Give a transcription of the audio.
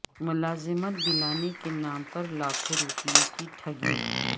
ملازمت دلانے کے نام پر لاکھوں روپئے کی ٹھگی